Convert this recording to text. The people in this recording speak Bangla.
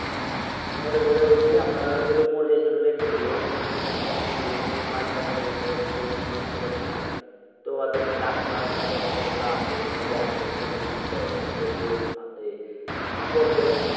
মরে গেলে ঐযে আমরা দর যে টা মরে গিয়ে রেখে দিয়ে then company কে phone দিয়ে বাইচ্চা মরে গিয়েছে এখনকি করে কি করব বুঝতে পারছিনা? তো ওহাদের সেই ডাক্তার তারপর যে expert গুলো আছে যে postmortem করে কি problem